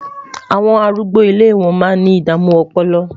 àwọn arúgbó ilé wọn má ní idamu ọpọlọ